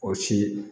O si